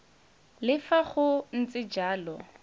le fa go ntse jalo